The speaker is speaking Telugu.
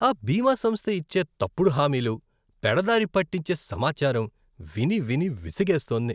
ఆ బీమా సంస్థ ఇచ్చే తప్పుడు హామీలు, పెడదారి పట్టించే సమాచారం విని విని విసుగేస్తోంది.